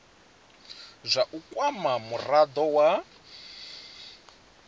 zwa u kwama murado wa